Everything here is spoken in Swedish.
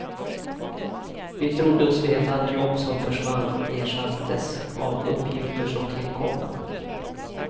Vi trodde oss veta att jobb som försvann ersattes av uppgifter som tillkom.